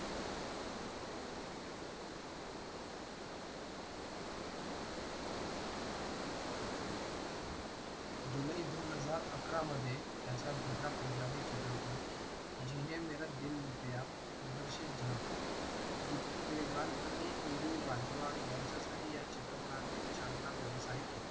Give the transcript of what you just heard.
जुलै दोन हजार अकरा मध्ये त्याचा दुसरा पंजाबी चित्रपट जिहने मेरा दिल लुटेया प्रदर्षित झाला या चित्रपटात गिप्पी ग्रेवाल आणि नीरू बाजवा यांच्यासह या चित्रपटने चांगला व्यवसाय केला